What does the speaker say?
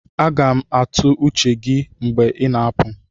Aga m atụ uche gị mgbe ị na-apụ